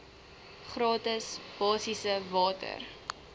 gratis basiese water